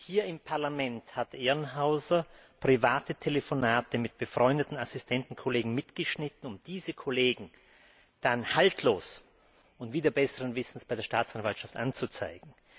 Hier im Parlament hat Ehrenhauser private Telefonate mit befreundeten Assistentenkollegen mitgeschnitten, um diese Kollegen dann haltlos und wider besseren Wissens bei der Staatsanwaltschaft anzuzeigen.